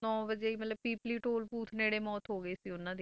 ਨੋਂ ਵਜੇ ਹੀ ਮਤਲਬ ਪੀਪਲੀ toll booth ਨੇੜੇ ਮੌਤ ਹੋ ਗਈ ਸੀ ਉਹਨਾਂ ਦੀ,